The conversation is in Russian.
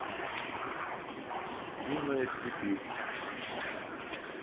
юная сибирь